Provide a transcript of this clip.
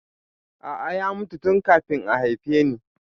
A'a, ya mutu tun kafin a haife ni